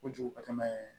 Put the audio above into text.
Kojugu ka tɛmɛ